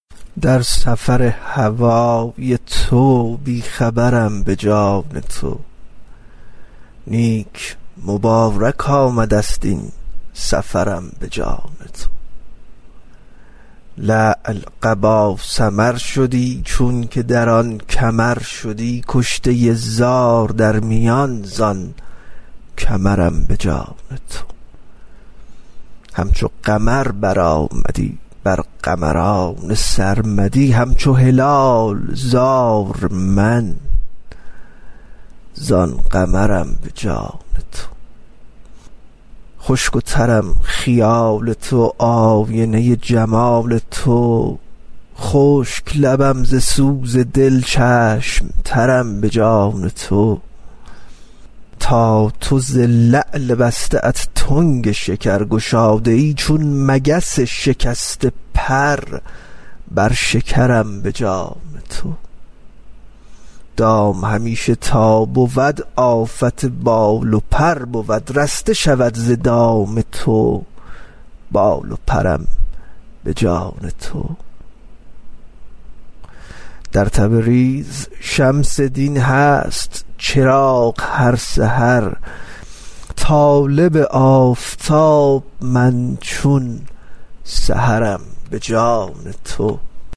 در سفر هوای تو بی خبرم به جان تو نیک مبارک آمده ست این سفرم به جان تو لعل قبا سمر شدی چونک در آن کمر شدی کشته زار در میان زان کمرم به جان تو همچو قمر برآمدی بر قمران سر آمدی همچو هلال زار من زان قمرم به جان تو خشک و ترم خیال تو آینه جمال تو خشک لبم ز سوز دل چشم ترم به جان تو تا تو ز لعل بسته ات تنگ شکر گشاده ای چون مگس شکسته پر بر شکرم به جان تو دام همیشه تا بود آفت بال و پر بود رسته شود ز دام تو بال و پرم به جان تو در تبریز شمس دین هست چراغ هر سحر طالب آفتاب من چون سحرم به جان تو